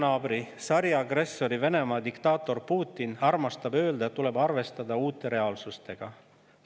Idanaabri, sariagressori Venemaa diktaator Putin armastab öelda, et tuleb arvestada uue reaalsusega.